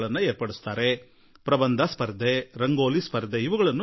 ಪ್ರಬಂಧ ಸ್ಪರ್ಧೆ ಏರ್ಪಡಿಸುವರು ರಂಗೋಲಿ ಸ್ಪರ್ಧೆ ನಡೆಸುವರು